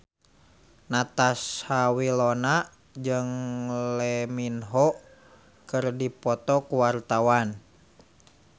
Natasha Wilona jeung Lee Min Ho keur dipoto ku wartawan